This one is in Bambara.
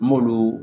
N m'olu